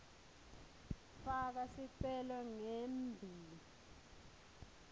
faka sicelo ngembi